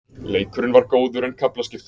Leikurinn var góður en kaflaskiptur.